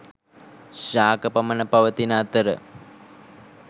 ශාක පමණ පවතින අතර